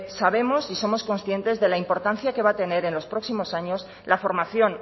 sabemos y somos conscientes de la importancia que va a tener en los próximos años la formación